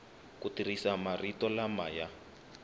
ku tirhisa marito lama ya